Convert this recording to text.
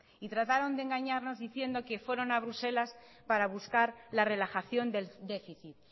trataron de engañarnos diciendo que fueron a bruselas para buscar la relajación del déficit